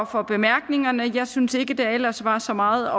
for bemærkningerne jeg synes ikke der ellers var så meget